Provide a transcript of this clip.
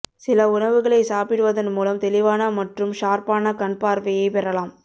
சில உணவுகளை சாப்பிடுவதன் மூலம் தெளிவான மற்றும் ஷார்ப்பான கண்பார்வையை பெறலாம்